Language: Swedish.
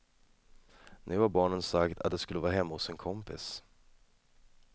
Nu har barnen sagt, att de skulle vara hemma hos en kompis.